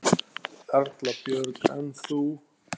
Erla Björg: En þú?